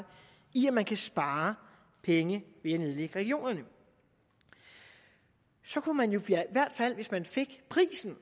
i at man kan spare penge ved at nedlægge regionerne så kunne man jo i hvert fald hvis man fik prisen